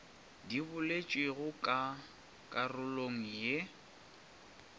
di boletšwego ka karolong ye